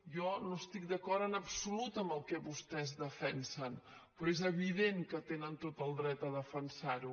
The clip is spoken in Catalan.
jo no estic d’acord en absolut amb el que vostès defensen però és evident que tenen tot el dret a defensar ho